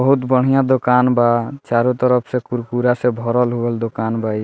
बहुत बढ़िया दुकान बा चारो तरफ से कुरकुरा से भरल-उरल दुकान बा इ।